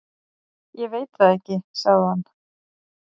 """Ég veit það ekki, sagði hann."""